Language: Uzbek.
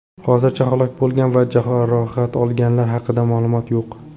Hozircha halok bo‘lgan va jarohat olganlar haqida ma’lumot yo‘q.